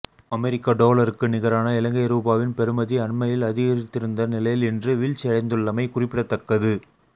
அமெரிக்க டொலருக்கு நிகரான இலங்கை ரூபாவின் பெறுமதி அண்மையில் அதிகரித்திருந்த நிலையில் இன்று வீழ்ச்சியடைந்துள்ளமை குறிப்பிடத்தக்கது